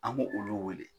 An b'o olu weele